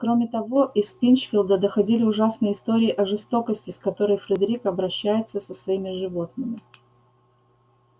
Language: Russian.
кроме того из пинчфилда доходили ужасные истории о жестокости с которой фредерик обращается со своими животными